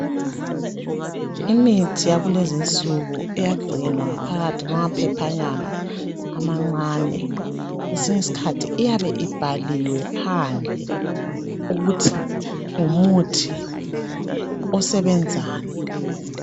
Imithi yakulezinsuku eyagcinwa ngaphakakathi kwamaphephanyana amancane. Kwesinye iskhathi iyabe ibhaliwe phandle ukuthi ngumuthi osebenzani.